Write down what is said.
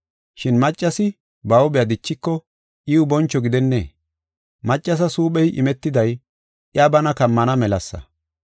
Shin maccasi ba huuphe dichiko iw boncho gidennee? Maccasas huuphey imetiday iya bana kammana melasa.